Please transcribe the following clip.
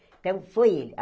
Então, foi ele.